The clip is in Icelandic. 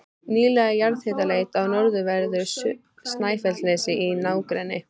Nýleg jarðhitaleit á norðanverðu Snæfellsnesi í nágrenni